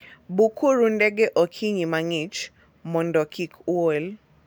Bukuru ndege okinyi mang'ich mondo kik uol.